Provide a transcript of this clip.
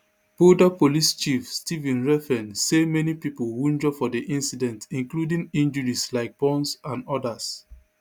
boulder police chief stephen redfearn say many pipo wunjure for di incident including injuries like burns and odas